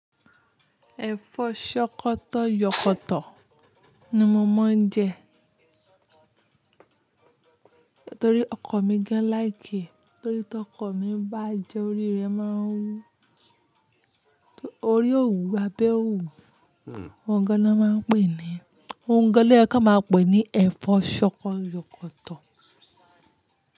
Ẹ̀fọ́ ṣọkọ yọkọ tọ ni mo máa ń jẹ. Nítorí ọkọ mi gan like ẹ́, torí tí ọkọ mi bá jẹ, orí rẹ̀ máa ń wú. Orí ò wù, abẹ ò wù. Òǹgẹ lọ máa ń pè é ní, òǹgẹ lọ́kà máa ń pè é ní ẹ̀fọ́ ṣọkọ yọkọ tọ.